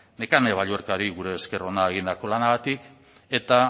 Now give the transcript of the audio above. nekane balluerkari gure esker ona egindako lanagatik eta